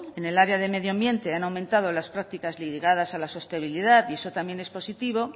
en el área de medio ambiente han aumentado las prácticas lideradas a la sostenibilidad y eso también es positivo